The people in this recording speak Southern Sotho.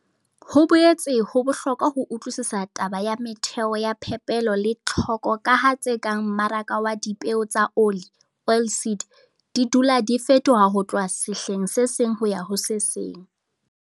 Ho boetse ho bohlokwa ho utlwisisa taba ya metheo ya phepelo le tlhoko ka ha tse kang mmaraka wa dipeo tsa oli, oilseed, di dula di fetoha ho tloha sehleng se seng ho ya ho se seng.